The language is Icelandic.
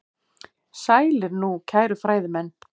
Sælir nú, kæru fræðimenn.